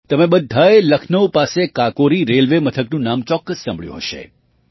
તમે બધાંએ લખનઉ પાસે કાકોરી રેલવે મથકનું નામ પણ ચોક્કસ સાંભળ્યું હશે